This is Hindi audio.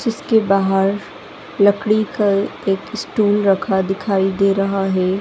जिसके बाहर लकड़ी का एक स्टुल रखा दिखाई दे रहा है।